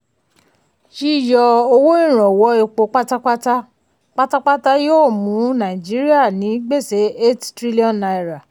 yíyọ owó ìrànwọ́ epo pátápátá pátápátá yóò mú nàìjíríà ní gbèsè eight trillion naira